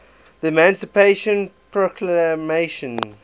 the emancipation proclamation